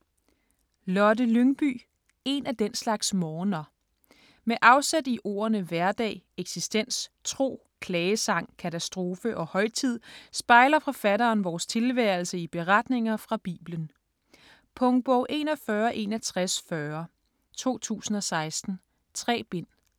Lyngby, Lotte: En af den slags morgener Med afsæt i ordene hverdag, eksistens, tro, klagesang, katastrofe og højtid, spejler forfatteren vores tilværelse i beretninger fra Bibelen. Punktbog 416140 2016. 3 bind.